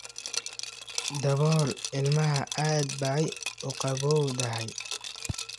Dabool ilmaha, aad bay uu qabowdahay.